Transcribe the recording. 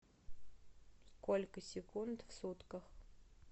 сколько секунд в сутках